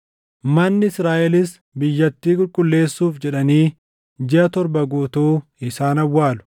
“ ‘Manni Israaʼelis biyyattii qulqulleessuuf jedhanii jiʼa torba guutuu isaan awwaalu.